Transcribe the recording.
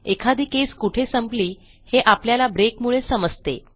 एखादी केस कुठे संपली हे आपल्याला ब्रेकमुळे समजते